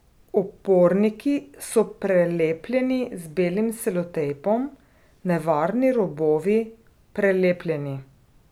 Oporniki so prelepljeni z belim selotejpom, nevarni robovi prelepljeni.